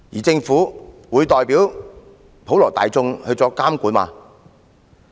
政府會代表普羅大眾作監管嗎？